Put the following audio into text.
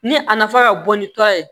Ni a nafa ka bon ni tɔ ye